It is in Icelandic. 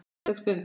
Falleg stund.